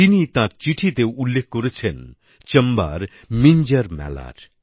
তিনি তার চিঠিতে উল্লেখ করেছেন চম্বার মিঞ্জর মেলার